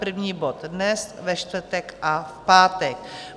První bod dnes, ve čtvrtek a v pátek.